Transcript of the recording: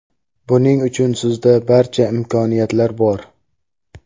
Buning uchun sizda barcha imkoniyatlar bor.